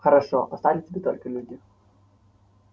хорошо остались бы только люди